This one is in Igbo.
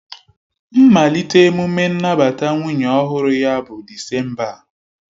Mmalite emume nnabata nwunye ọhụrụ ya bụ Disemba a